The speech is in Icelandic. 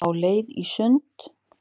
Á leið í sund